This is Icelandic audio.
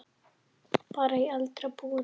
Bara í eldra búri.